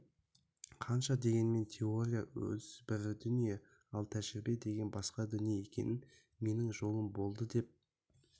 қанша дегенмен теория өзі бір дүние ал тәжірибе деген басқа дүние екен менің жолым болды деп